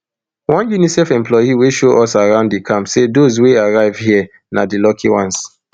one unicef employee wey show us around di camp say those wey arrive hia na di lucky ones